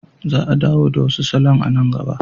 Za a dawo da wasu salon a nan gaba.